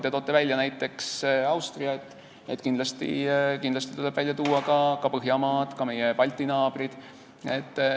Te tõite välja Austria, kindlasti tuleb välja tuua ka Põhjamaad ja meie Balti naabrid.